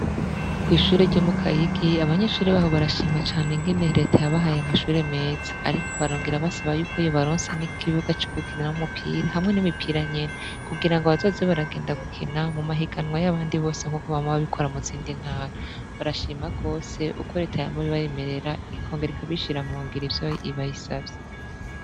Kw'ishure ryo mu Kayigi abanyeshure baho barashima cane ingene reta yabahaye amashure meza, ariko barongera basaba yuko yobaronsa n'ikibuga c'ugukiramwo umupira hamwe n'imipira nyene kugira ngo bazoze baragenda gukina mu mahiganwa y'abandi bose nk'uko bama babikora mu zindi ntara, barashima gose uko reta yama ibibemerera ikongera ikabishira mu ngiro ivyo bayisavye.